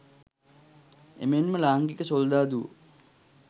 එමෙන්ම ලාංකික සොල්දාදුවෝ